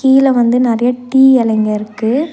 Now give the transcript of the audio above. கீழ வந்து நெறையா டீ எலைங்க இருக்கு.